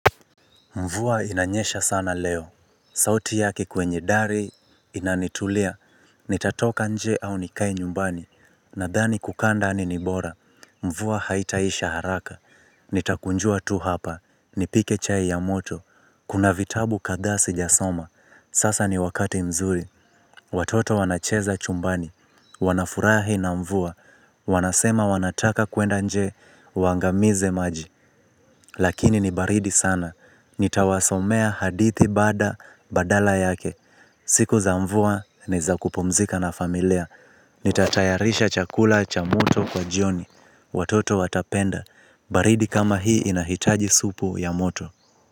Mvua inanyesha sana leo, sauti yaki kwenye dari inanitulia, nitatoka nje au nikae nyumbani, nadhani kukaa ndani ni bora, mvua haitaisha haraka, nitakunjua tu hapa, nipike chai ya moto, kuna vitabu kadha sijasoma, sasa ni wakati mzuri, watoto wanacheza chumbani, wanafurahi na mvua, wanasema wanataka kuenda nje, waangamize maji, lakini ni baridi sana, nitawasomea hadithi baada badala yake. Siku za mvua ni za kupumzika na familia. Nitatayarisha chakula cha moto kwa jioni. Watoto watapenda. Baridi kama hii inahitaji supu ya moto.